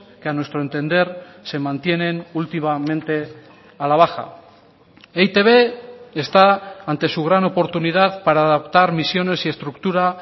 que a nuestro entender se mantienen últimamente a la baja e i te be está ante su gran oportunidad para adaptar misiones y estructura